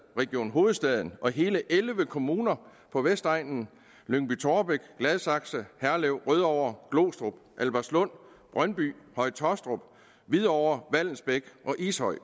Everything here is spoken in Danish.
region hovedstaden og hele elleve kommuner på vestegnen lyngby taarbæk gladsaxe herlev rødovre glostrup albertslund brøndby høje taastrup hvidovre vallensbæk og ishøj